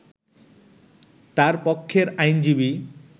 তার পক্ষের আইনজীবী